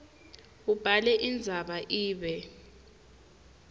ubhale indzaba ibe